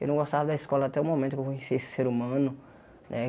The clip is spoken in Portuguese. Eu não gostava da escola até o momento que eu conheci esse ser humano, né?